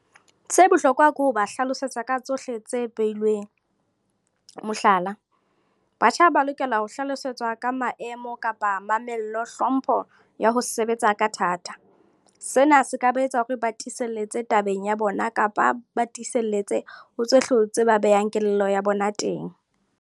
Se bohlokwa ke ho ba hlalosetsa ka tsohle tse beilweng, mohlala, batjha ba lokela ho hlalosetswa ka maemo kapa mamello, hlompho ya ho sebetsa ka thata. Sena se ka ba etsa hore ba tiselletse tabeng ya bona kapa ba tiselletse ho hlotse ba behang kelello ya bona teng.